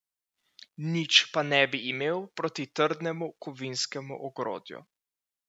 Nič pa ne bi imeli proti trdnemu kovinskemu ogrodju.